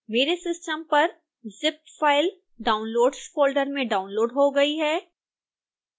मेरे सिस्टम पर zip file downloads folder में डाउनलोड़ हो गई है